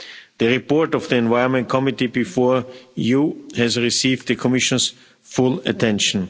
The report of the Environment Committee before you has received the Commission's full attention.